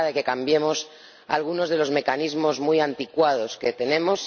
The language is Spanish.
Es hora de que cambiemos algunos de los mecanismos muy anticuados que tenemos